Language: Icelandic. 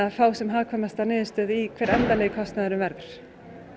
fá sem hagkvæmasta niðurstöðu í hver endanlegi kostnaðurinn verður